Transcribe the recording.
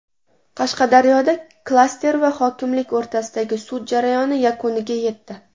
Qashqadaryoda klaster va hokimlik o‘rtasidagi sud jarayoni yakuniga yetdi.